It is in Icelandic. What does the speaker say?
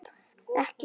Ekki séns.